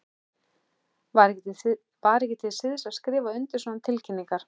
Var ekki til siðs að skrifa undir svona tilkynningar?